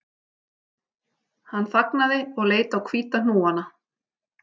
Hann þagnaði og leit á hvíta hnúana